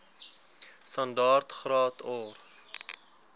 standaard graad or